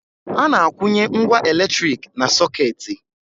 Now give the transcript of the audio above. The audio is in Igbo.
A na-akwụnye ngwá elektrik na sọkeeti.